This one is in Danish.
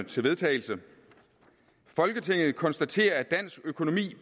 til vedtagelse folketinget konstaterer at dansk økonomi